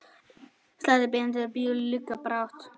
Slætti bændur ljúka brátt.